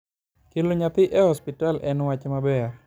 kelo nyathi e hospital en wach maber